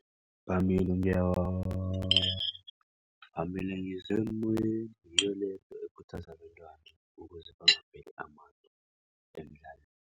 Phambili nge-war, phambili ngisemoyeni. Ngiyole ekhuthaza abantwana ukuze bangapheli amandla emdlalweni.